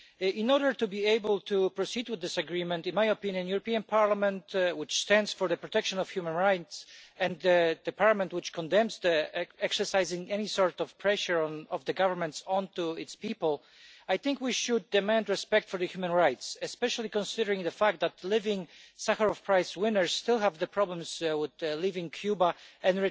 In order to be able to proceed with this agreement, in my opinion, the European Parliament, which stands for the protection of human rights and is the Parliament which condemns exercising any sort of pressure of governments on their people, I think we should demand respect for human rights, especially considering the fact that Sakharov Prize winners still have the problems with leaving Cuba and